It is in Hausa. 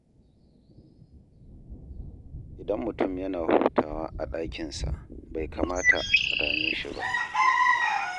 Idan mutum yana hutawa a ɗakinsa, bai kamata a dame shi ba.